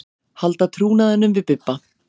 Halda trúnaðinn við Bibba.